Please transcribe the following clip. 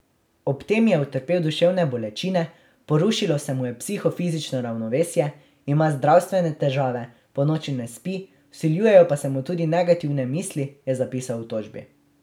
Ob tem je utrpel duševne bolečine, porušilo se mu je psihofizično ravnovesje, ima zdravstvene težave, ponoči ne spi, vsiljujejo pa se mu tudi negativne misli, je zapisal v tožbi.